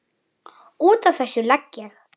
Út af þessu legg ég.